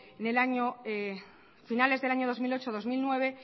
a finales del año dos mil ocho dos mil nueve